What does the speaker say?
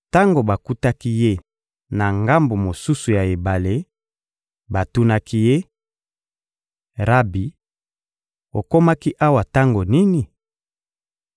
Tango bakutaki Ye na ngambo mosusu ya ebale, batunaki Ye: — Rabi, okomaki awa tango nini?